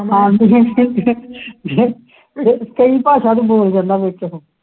ਕਈ ਭਾਸ਼ਾਵਾਂ ਉਹ ਬੋਲ ਜਾਂਦਾ ਵਿੱਚ